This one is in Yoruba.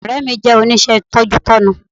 Ọ̀rẹ́ mi jẹ́ oníṣẹ́ tọ́jútọ́nu